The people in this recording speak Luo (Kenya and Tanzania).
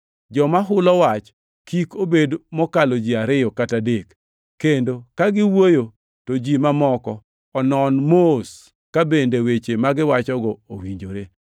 Joma hulo wach kik bed mokalo ji ariyo kata adek, kendo ka giwuoyo, to ji mamoko onon mos ka bende weche magiwacho owinjore.